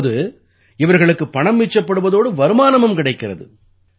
இப்போது இவர்களுக்கு பணம் மிச்சப்படுவதோடு வருமானமும் கிடைக்கிறது